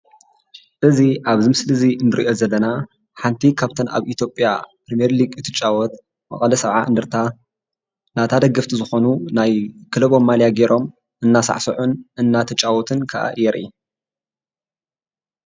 እዚ ኣብዚ ምስሊ ንእርኦ ዘለና ሓንቲ ካብተን ኣብ ኢትዮጵያ ፕሪሜሊግ ትጫወት መቐለ ሰብዓ እንደርታ ናታ ደገፍቲ ዝኮኑ ናይ ክለቦም ማልያ ገይሮም እንዳሳዕስዑን እንዳተጫወቱን ከዓ የርኢ።